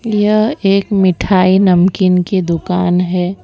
यह एक मिठाई नमकीन की दुकान है।